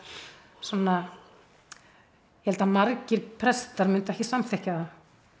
svona ég held að margir prestar myndu ekki samþykkja það